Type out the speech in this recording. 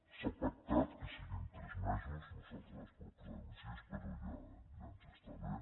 s’ha pactat que siguin tres mesos nosaltres en proposàvem sis però ja ens està bé